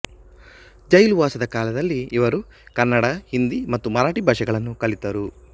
ಜೈಲುವಾಸದ ಕಾಲದಲ್ಲಿ ಇವರು ಕನ್ನಡ ಹಿಂದಿ ಮತ್ತು ಮರಾಠಿ ಭಾಷೆಗಳನ್ನು ಕಲಿತರು